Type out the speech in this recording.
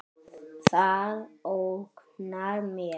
Það ógnar mér.